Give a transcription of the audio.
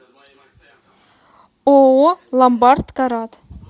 ооо ломбард карат